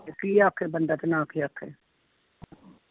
ਤੇ ਕੀ ਆਖੇ ਬੰਦਾ ਤੇ ਕੀ ਨਾ ਆਖੇ